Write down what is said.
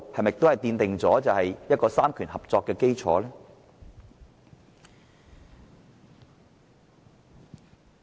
此舉是否奠定三權合作的基礎？